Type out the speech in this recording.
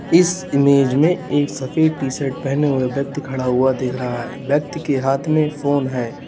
इस इमेज़ में एक सफेद टी शर्ट पहने हु्ए व्यक्ति खड़ा हुआ दिख रहा है व्यक्ति के हाथ में फोन है।